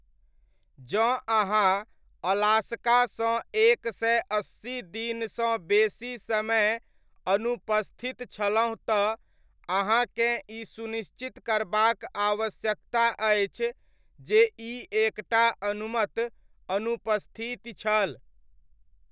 जँ अहांँ अलास्का सँ एक सय अस्सी दिनसँ बेसी समय अनुपस्थित छलहु तँ अहाँकेँ ई सुनिश्चित करबाक आवश्यकता अछि जे ई एक टा अनुमत अनुपस्थिति छल।